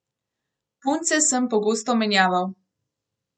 Punce sem pogosto menjaval.